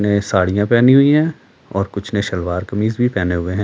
ने साड़ियां पहनी हुई हैं और कुछ ने सलवार कमीज भी पहने हुए हैं।